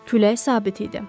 Külək sabit idi.